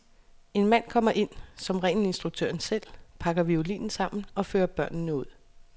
En mand kommer ind, som regel instruktøren selv, pakker violinen sammen og fører børnene ud.